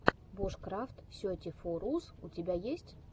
бушкрафт сети фо рус у тебя есть